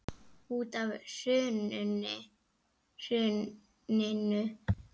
Út af hruninu segir Eyþór.